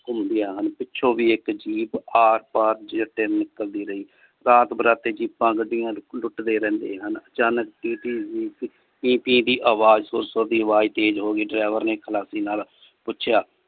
ਘੁੰਮਦੀਆਂ ਹਨ ਪਿੱਛੋਂ ਵੀ ਇਕ jeep ਆਰ ਪਾਰ ਨਿਕਲਦੀ ਰਹੀ ਰਾਤ ਬਰਾਤੇ ਜੀਪਾਂ ਗੱਡੀਆਂ ਲੁੱਟਲੁੱਟਦੇ ਰਹਿੰਦੇ ਹਨ ਅਚਾਨਕ ਟੀਂ ਟੀਂ ਪੀ ਪੀ ਦੀ ਆਵਾਜ ਸੁਰ ਸੁਰ ਦੀ ਅਵਾਜ ਤੇਜ ਹੋਗੀ driver ਨੇ ਚਲਾਕੀ ਨਾਲ ਪੁੱਛਿਆ।